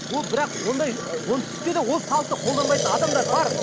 ол бірақ ондай оңтүстікте де ол салтты қолданбайтын адамдар бар